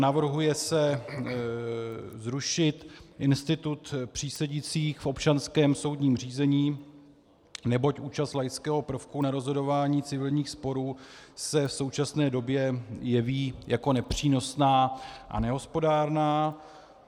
Navrhuje se zrušit institut přísedících v občanském soudním řízení, neboť účast laického prvku na rozhodování civilních sporů se v současné době jeví jako nepřínosná a nehospodárná.